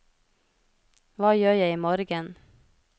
hva gjør jeg imorgen